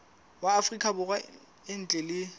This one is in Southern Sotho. wa afrika borwa ntle le